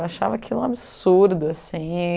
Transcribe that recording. Eu achava aquilo um absurdo, assim.